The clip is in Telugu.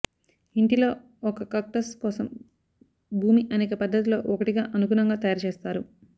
ఇంటిలో ఒక కాక్టస్ కోసం భూమి అనేక పద్ధతులలో ఒకటిగా అనుగుణంగా తయారుచేస్తారు